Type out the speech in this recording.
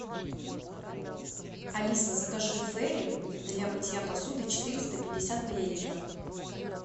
алиса закажи фейри для мытья посуды четыреста пятьдесят миллилитров